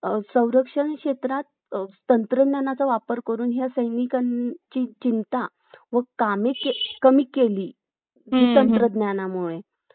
अधिक कष्टाचे असते डोंगराळ प्रदेशात सुपीक शेत जमीन उपलबध अगदी थोडी तर मैदानी प्रदेशात सुपीक शेत जमीन मोठ्या प्रमाणावर उपलब्ध असते त्यांमुळे